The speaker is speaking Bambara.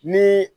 Ni